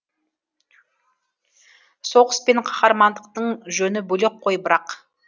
соғыс пен қаһармандықтың жөні бөлек қой бірақ